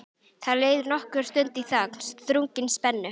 Það leið nokkur stund í þögn, þrungin spennu.